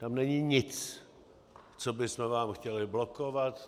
Tam není nic, co bychom vám chtěli blokovat.